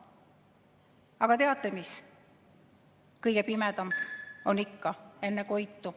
Aga teate mis: kõige pimedam on ikka enne koitu.